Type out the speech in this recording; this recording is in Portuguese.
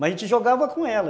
Mas a gente jogava com ela.